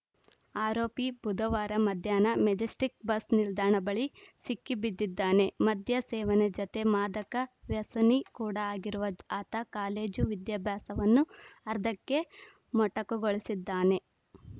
ಆರೋಪಿ ಬುಧವಾರ ಮಧ್ಯಾಹ್ನ ಮೆಜೆಸ್ಟಿಕ್‌ ಬಸ್‌ ನಿಲ್ದಾಣ ಬಳಿ ಸಿಕ್ಕಿ ಬಿದ್ದಿದ್ದಾನೆ ಮದ್ಯ ಸೇವನೆ ಜತೆ ಮಾದಕ ವ್ಯಸನಿ ಕೂಡ ಆಗಿರುವ ಆತ ಕಾಲೇಜು ವಿದ್ಯಾಭ್ಯಾಸವನ್ನು ಅರ್ಧಕ್ಕೆ ಮೊಟಕುಗೊಳಿಸಿದ್ದಾನೆ